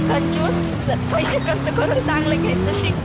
कंजूस पैसे खर्च करून चांगलं घ्यायचं शिक.